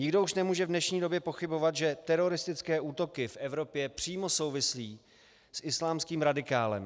Nikdo už nemůže v dnešní době pochybovat, že teroristické útoky v Evropě přímo souvisí s islámským radikalismem.